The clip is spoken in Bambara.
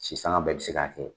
Sisan anw bɛɛ bi se ka kɛ.